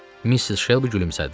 Missis Şelbi gülümsədi.